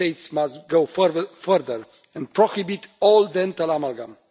Member States must go further and prohibit all dental amalgam.